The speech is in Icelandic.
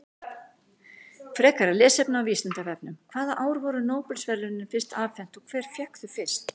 Frekara lesefni á Vísindavefnum: Hvaða ár voru Nóbelsverðlaunin fyrst afhent og hver fékk þau fyrst?